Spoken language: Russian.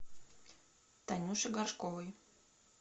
танюше горшковой